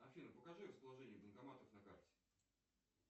афина покажи расположение банкоматов на карте